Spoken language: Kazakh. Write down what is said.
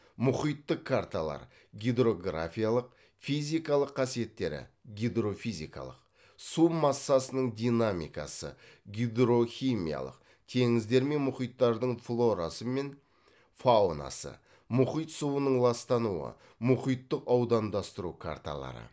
мұхиттық карталар гидрографиялық физикалық қасиеттері су массасының динамикасы гидрохимиялық теңіздер мен мұхиттардың флорасы және фаунасы мұхит суының ластануы мұхиттық аудандастыру карталары